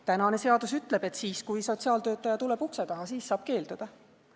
Tänane seadus ütleb, et siis, kui sotsiaaltöötaja tuleb ukse taha, siis saab keelduda.